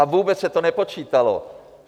A vůbec se to nepočítalo.